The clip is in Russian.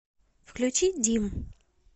включи дим